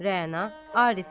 Rəna Arifə.